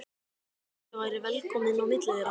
Eins og ég væri velkominn á milli þeirra.